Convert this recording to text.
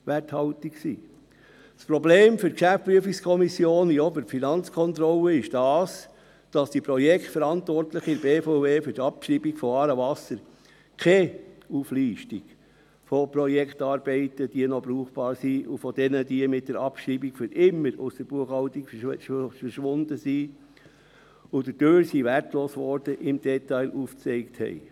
Das Problem für die GPK wie auch für die Finanzkontrolle ist, dass die Projektverantwortlichen in der BVE für die Abschreibung von «Aarewasser» keine Auflistung von Projektarbeiten, die noch brauchbar sind und die mit der Abschreibung für immer aus der Buchhaltung verschwunden sind und dadurch wertlos wurden, im Detail aufgezeigt haben.